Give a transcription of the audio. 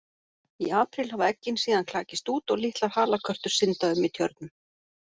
Í apríl hafa eggin síðan klakist út og litlar halakörtur synda um í tjörnum.